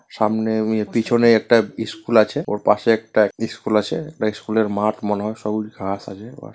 সামনে আমি পিছনে একটা স্কুল আছে। ওর পাশে একটা স্কুল আছে। স্কুলের মাঠ মনে হয়। সবুজ ঘাস আছে ওর।